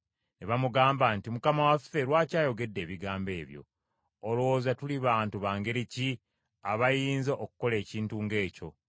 Ne bamugamba nti, “Mukama waffe lwaki ayogedde ebigambo ebyo? Olowooza tuli bantu ba ngeri ki abayinza okukola ekintu ng’ekyo?